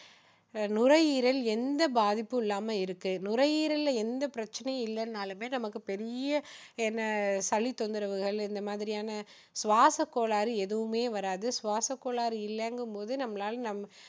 நுரையீரல் எந்த பாதிப்பும் இல்லாம இருக்கு நுரையீரல்ல எந்த பிரச்சனையும் இல்லைன்னாலுமே நமக்கு பெரிய என்ன சளி தொந்தரவு இந்த மாதிரியான சுவாச கோளாறு எதுவுமே வராது சுவாச கோளாறு இல்லைங்கும் போது நம்மளால